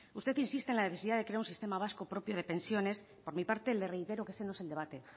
usted insiste en la necesidad de crear un sistema vasco propio de pensiones por mi parte le reitero que ese no es el debate